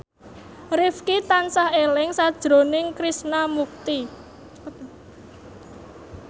Rifqi tansah eling sakjroning Krishna Mukti